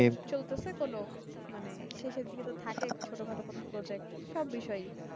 চলতেসে কোনো মানে শেষের দিকে তো থাকে ছোট খাটো project সব বিষয়ই